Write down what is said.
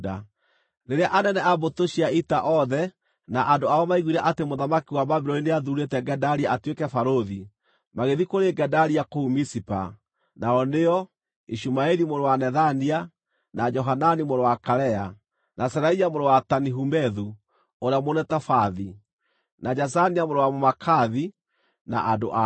Rĩrĩa anene a mbũtũ cia ita othe na andũ ao maaiguire atĩ mũthamaki wa Babuloni nĩathuurĩte Gedalia atuĩke barũthi, magĩthiĩ kũrĩ Gedalia kũu Mizipa, nao nĩo, Ishumaeli mũrũ wa Nethania, na Johanani mũrũ wa Karea, na Seraia mũrũ wa Tanihumethu ũrĩa Mũnetofathi, na Jaazania mũrũ wa Mũmaakathi, na andũ ao.